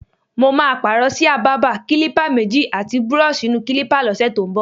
Mo máa pààrò s̩íà bábà, kílípà méjì, àti búró̩ò̩s̩ì-ì-nu-kílípà ló̩sè̩ tó ń bò̩.